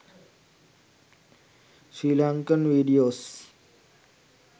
sri lankan videos